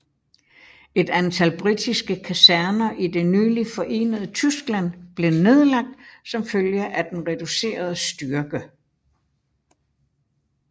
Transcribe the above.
Et antal britiske kaserner i det nyligt forenede Tyskland blev nedlagt som følge af den reducerede styrke